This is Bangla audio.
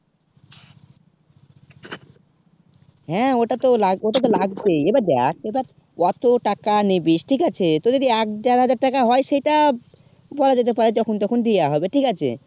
হেঁ অতটা তো লাগবে অতটা তো লাগবে ই এইবার দেখ এইবার ওত্তো টাকা নিবিস ঠিক আছে তো যদি এক জায়গা থেকে টাকা হয়ে সেটা বলা যেতে পারে যখুন তখন দিয়া যেতে পারে হবে ঠিকাছে